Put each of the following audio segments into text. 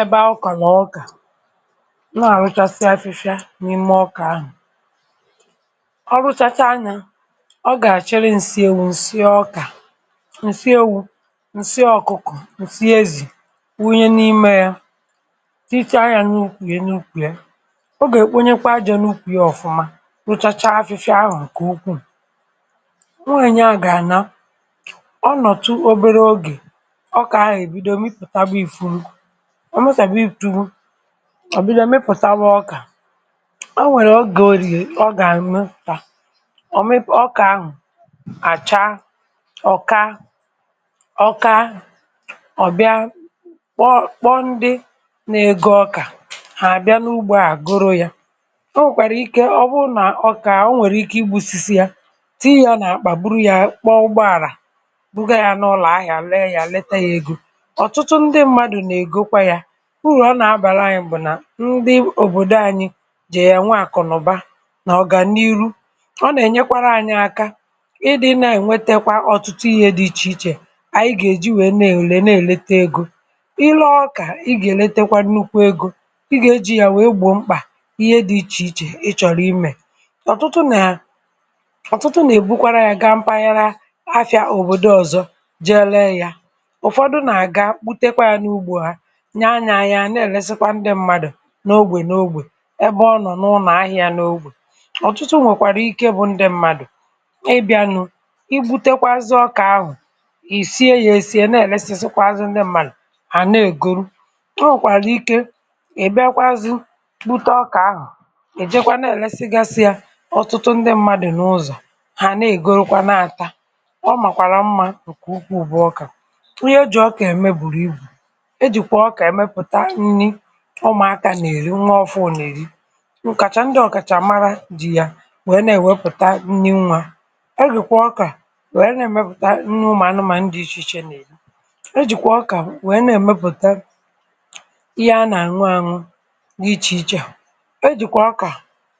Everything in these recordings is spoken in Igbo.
ebe ọkà nà ọkà nwaà, rụchasịa afịfịa, n’ime ọkà ahụ̀. ọ rụchacha, nà ọ gà-àchịrị ǹsị ewu̇, ǹsị ọkà, ǹsị ewu̇, ǹsị ọ̀kụkọ̀, ǹsị ezì, wunye n’ime yȧ. tịchọ ahịa, n’ukwù ye n’ukwù yȧ. ọ gà-èkponyekwa ajọ̇, n’ukwù yȧ, ọ̀fụma rụchacha afịfịa ahụ̀. ǹkè ukwuù nweè, nye, à gà-àna, ọ nọ̀tụ obere ogè. ọ mụsàbè, ị pụ̀tugwu òbido, mepụ̀tawa ọkà. o nwèrè o gè orie, ọ gà-anụ̇sà, ọ mepụ̀ ọkà ahụ̀, àcha ọka-ọka. ọ̀bịa kpọ ndị na-ego ọkà, hà àbịa n’ugbȯ, a goro yȧ. o nwèkwàrà ike, ọ̀bụrụ nà ọkà, o nwèrè ike, igbu̇sisi ya, tii yȧ, nà-àkpà, buru yȧ, kpọọ ụgbọàrà ụbọ̀. ọtụtụ ndị mmadụ̀, nà-ègokwa yȧ. urù ọ nà-abàra anyị̇, bụ̀ nà, ndị òbòdo anyị̇ jì yà, nwe àkụ̀, nà ụba, nà ọ̀gànihu. ọ nà-ènyekwara anyị̇ aka, ịdị̇, na-ènwetekwa ọ̀tụtụ ihė dị ichè ichè. àyị gà-èji, wèe na-èlè, na-èlete egȯ. ịlọọkà, ịgà-èletekwa nnukwu egȯ, ịgà ejì yà, wèe gbòo mkpà, ihe dị ichè ichè, ị chọ̀rọ̀ imè. ọ̀tụtụ nà, ọ̀tụtụ nà-èbukwara ya, gaa mpaghara afị̇ȧ òbòdo ọ̀zọ, je lee yȧ, nye anya. anyị̇ à na-èlesikwa ndị mmadụ̀, n’ogbè n’ogbè, ẹbẹ ọ nọ̀, n’ụnọ̀ ahị̇ȧ, n’ogbè. ọ̀tụtụ nwèkwàrà ike, bụ̇ ndị mmadụ̀, ị bị̇anụ̇, i butekwazị ọkà ahụ̀, ì sie ya, èsie. na-èlesikwa ndị mmadụ̀, hà na-ègoro, ta, wèkwàrà ike, ị bịa kwazị, kputa ọkà ahụ̀. ị̀ jekwa, na-èlesigasị ya, ọtụtụ ndị mmadụ̀, n’ụzọ̀, hà na-ègoro kwa, na-àta ọ. màkwàrà mmȧ, ǹkè ụkwụ ụbụ ọkà. e jìkwà ọkà, ẹmẹpụ̀ta nni, ụmụ̀akȧ nà-èri, nwee ọfụụ̀, nà-èri ụ̀kàchà. ndị ọ̀kàchàmara dị̇, ya nwèe, nà-èwepụ̀ta nni. nwȧ, e jìkwà ọkà, nwèe nà-èmepụ̀ta nni, anụ̇mȧ nà ndị ichè ichè, nà-èri. e jìkwà ọkà, nwèe nà-èmepụ̀ta ihe, anà-àṅụ àṅụ gị, ichè ichè. e jìkwà ọkà,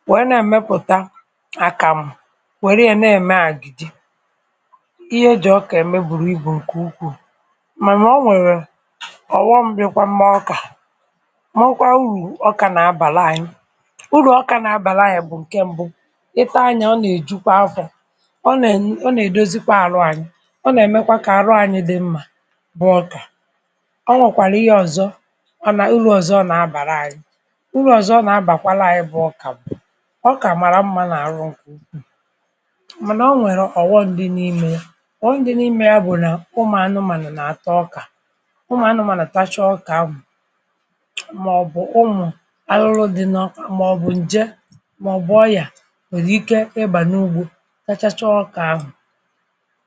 nwèe nà-èmepụ̀ta àkàmụ̀. nwèrè ihe, nà-ème àgìdì. ihe ejì ọkà ème, bùrù ibù ǹkè ukwuù. ọ̀ghọṁ gbikwa mma, ọkà. ma, ọkwa urù ọkà, na-abàla anyi. urù ọkà, na-abàla anyi, bụ̀ ǹke ṁbụ, ịta anya, ọ nà-èjukwa afọ̀. ọ nà-ènye, ọ nà-èdozikwa arụ anyi̇. ọ nà-èmekwa, ka arụ anyi̇ dị mmȧ. bụ ọkà. ọ nwọ̀kwàrà ihe ọ̀zọ, ọ nà, urù ọ̀zọ, ọ nà-abàla anyi. urù ọ̀zọ, ọ nà-abàkwala anyi. bụ ọkà, bụ̀ ọkà màrà m̀ma, na-àrụ ṅkwụ̇ ṅ̀madụ̀. ọ nwèrè ọ̀ghọṁ dị n’imė, ọ̀ghọṁ dị n’imė, ya bụ̀, nà ụmụ̀ anụmanụ̀ nà àtọ ọkà. màọbụ̀, ụmụ̀ arụrụ dị n’ọkwa, màọbụ̀, ǹje, màọbụ̀ ọyà, nwèrè ike, ịbà n’ugbȯ, kachacha ọkà ahụ̀.